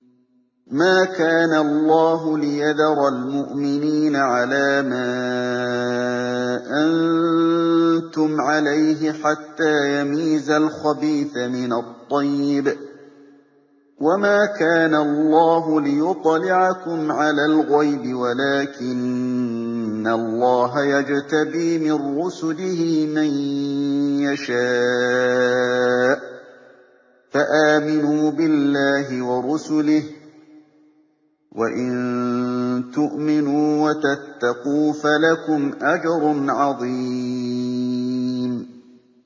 مَّا كَانَ اللَّهُ لِيَذَرَ الْمُؤْمِنِينَ عَلَىٰ مَا أَنتُمْ عَلَيْهِ حَتَّىٰ يَمِيزَ الْخَبِيثَ مِنَ الطَّيِّبِ ۗ وَمَا كَانَ اللَّهُ لِيُطْلِعَكُمْ عَلَى الْغَيْبِ وَلَٰكِنَّ اللَّهَ يَجْتَبِي مِن رُّسُلِهِ مَن يَشَاءُ ۖ فَآمِنُوا بِاللَّهِ وَرُسُلِهِ ۚ وَإِن تُؤْمِنُوا وَتَتَّقُوا فَلَكُمْ أَجْرٌ عَظِيمٌ